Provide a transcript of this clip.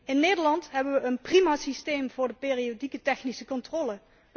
In Nederland hebben we een prima systeem voor de periodieke technische controle.